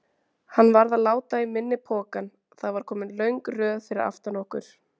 Hann varð að láta í minni pokann, það var komin löng röð fyrir aftan okkur.